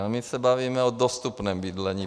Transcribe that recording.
Ale my se bavíme o dostupném bydlení.